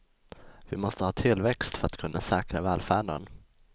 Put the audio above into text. Vi måste ha tillväxt för att kunna säkra välfärden.